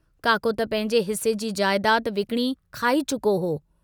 काको त पंहिंजे हिस्से जी जायदाद विकणी खाई चुको हुओ।